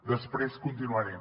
després continuaré